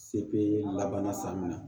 Sebe laban san min na